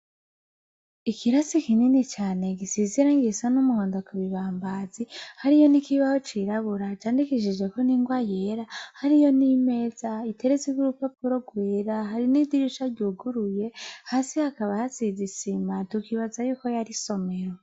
Ikibanza kininini cane gisize irangi risa ry'umuhondo ku bibambazi. Hariho nikibaho cirabura candikishijwe ningwa yera .Hariho n’imeza iteretseko urupapuro rwera nidirisha ryuguruye hasi habaka hasize isima tukibazako yo ari isomero.